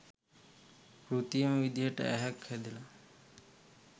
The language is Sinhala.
කෘතිම විදිහට ඇහැක් හදලා